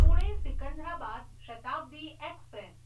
Pune Secunderabad Shatabdi express